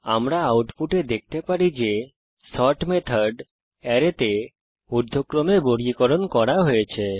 আমরা আউটপুটে দেখতে পারি যে সর্ট মেথড অ্যারেতে ঊর্ধ্বক্রমে বর্গীকরণ করা হয়েছে